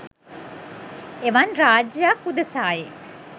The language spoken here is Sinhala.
එවන් රාජ්‍යයක් උදෙසායි